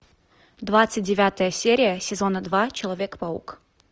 двадцать девятая серия сезона два человек паук